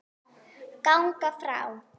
ganga frá